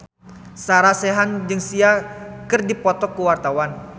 Sarah Sechan jeung Sia keur dipoto ku wartawan